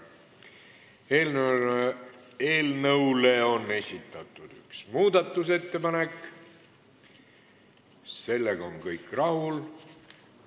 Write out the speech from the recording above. Eelnõu kohta on esitatud üks muudatusettepanek, sellega on kõik rahul.